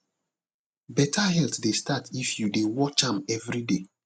better health dey start if you dey watch am every day